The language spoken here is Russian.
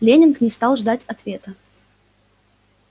лэннинг не стал ждать ответа